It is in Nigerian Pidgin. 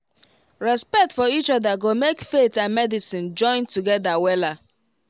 respect for each other go make faith and medicine join together wella